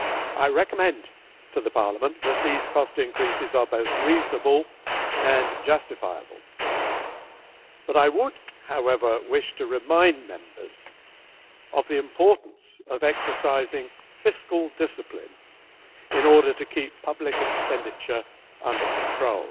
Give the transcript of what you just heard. I recommend to Parliament that these cost increases are both reasonable and justifiable, but I would, however, wish to remind Members of the importance of exercising fiscal discipline in order to keep public expenditure under control.